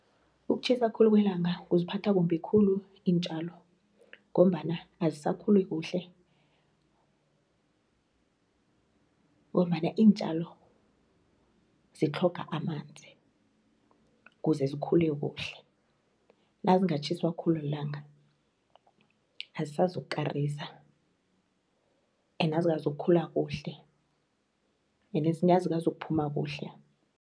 Ukutjhisa khulu kwelanga kuziphatha kumbi khulu iintjalo ngombana azisakhuli kuhle ngombana iintjalo zitlhoga amanzi kuze zikhule kuhle nazingatjhiswa khulu lilanga azisazokukarisa ene azikazukukhula kuhle enezinye azikazukuphuma kuhle.